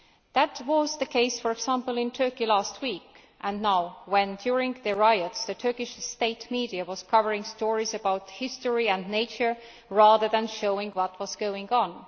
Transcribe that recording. That was the case for example in Turkey, last week and now, when during the riots the Turkish state media were covering stories about history and nature rather than showing what was going on.